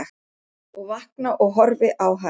Og vakna og horfi á hana.